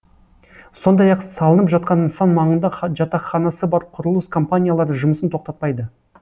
сондай ақ салынып жатқан нысан маңында жатақханасы бар құрылыс компаниялары жұмысын тоқтатпайды